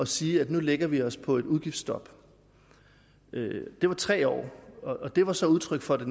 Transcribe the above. sige at nu lægger vi os på et udgiftsstop det var tre år og det var så udtryk for det